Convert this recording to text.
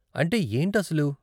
అంటే ఏంటి అసలు?